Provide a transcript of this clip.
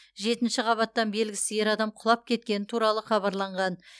жетінші қабаттан белгісіз ер адам құлап кеткені туралы хабарланған